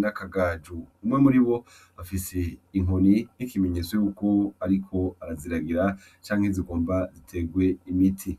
nakagajo umwe muri bo afise inkoni n'ikimenyetso yuko, ariko araziragira canke zigomba ziterwe imiti.